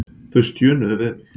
Þau stjönuðu við mig.